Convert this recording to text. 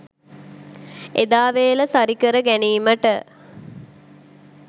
එදා වේල සරිකර ගැනීමට